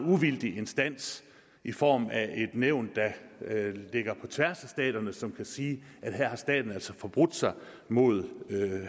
uvildig instans i form af et nævn der ligger på tværs af staterne som kan sige at her har staten altså forbrudt sig mod